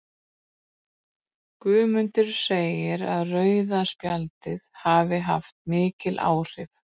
Guðmundur segir að rauða spjaldið hafi haft mikil áhrif.